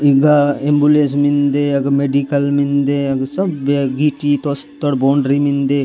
ईघा एंबुलेस मिन्दे अग मेडिकल मिन्दे अग सब्य गिटी तोस तोड़ बोंड्री मिन्दे।